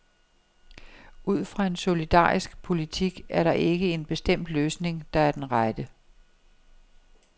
Ud fra en solidarisk politik er der ikke en bestemt løsning, der er den rette.